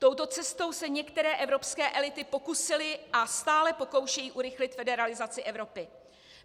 Touto cestou se některé evropské elity pokusily a stále pokoušejí urychlit federalizaci Evropy.